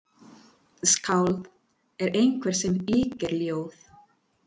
Skáld er einhver sem yrkir ljóð.